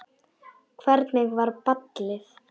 Hvernig var ballið?